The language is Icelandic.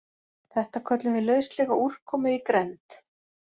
Þetta köllum við lauslega úrkomu í grennd.